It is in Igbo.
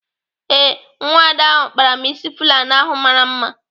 Ee, nwada ahu kpara m ịsị Fulani ahụ mara mma.